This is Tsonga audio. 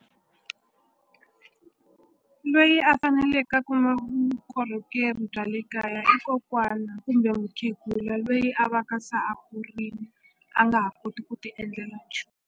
Lweyi a faneleke a vukorhokeri bya le kaya i kokwana kumbe mukhegula loyi a va ka se a kurini a nga ha koti ku ti endlela .